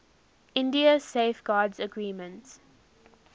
india safeguards agreement